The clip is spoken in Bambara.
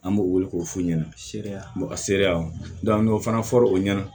An b'o wele k'o f'u ɲɛna sereya ka sereyaw la an y'o fana fɔ o ɲɛna